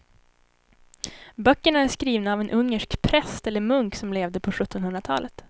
Böckerna är skrivna av en ungersk präst eller munk som levde på sjuttonhundratalet.